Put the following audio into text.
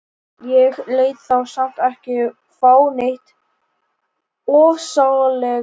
Ég lét þá samt ekki fá neitt ofsalega mikið.